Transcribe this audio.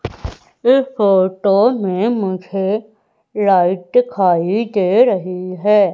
इस फोटो में मुझे लाइट दिखाई दे रही है।